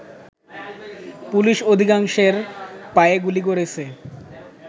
police অধিকাংশের পায়ে গুলি করেছে